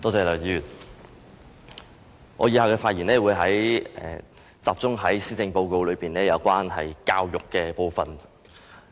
梁議員，我以下發言會集中於施政報告有關教育的部分。